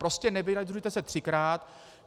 Prostě nevyjadřujte se třikrát.